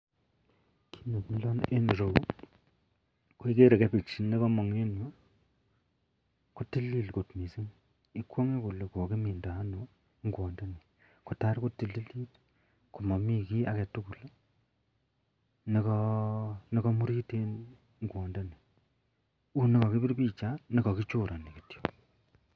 Kit nemilon en ireyu koagere ko cabbage nekamong en ireyu kotilil kot mising ikwangebkolenkokimindo ano ingwat ndoni kotakotililit komamii kit agetugul nekamurit en ingwat ndani unikakibir bicha nekakichob akechorani kityo.